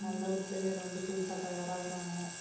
நல்ல ஒரு player வந்து புதுசா தயாராவுறாங்க.